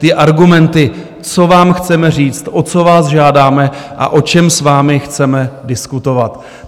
Ty argumenty, co vám chceme říct, o co vás žádáme a o čem s vám chceme diskutovat.